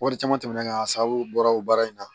Wari caman tɛmɛn a sababu bɔra o baara in na